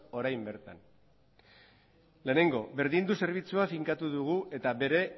orain bertan lehenengo berdindu zerbitzua finkatu dugu eta bere